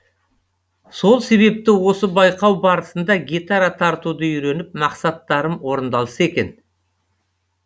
сол себепті осы байқау барысында гитара тартуды үйреніп мақсаттарым орындалса екен